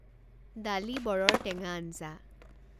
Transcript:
ডালি বৰৰ টেঙা আঞ্জা